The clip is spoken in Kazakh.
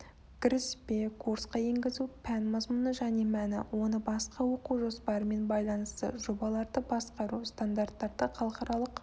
кіріспе курсқа енгізу пән мазмұны және мәні оның басқа оқу жоспарымен байланысы жобаларды басқару стандарттары халықаралық